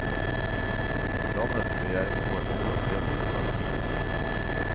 Landets regjeringsform er basert på monarki.